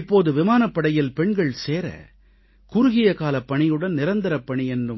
இப்போது விமானப்படையில் பெண்கள் சேர குறுகிய காலப் பணியுடன் நிரந்தரப் பணி என்ற